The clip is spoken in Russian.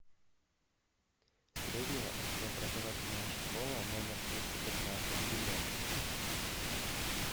средняя общеобразовательная школа номер двести пятнадцать билет